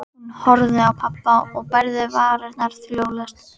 Hún horfði á pabba og bærði varirnar hljóðlaust.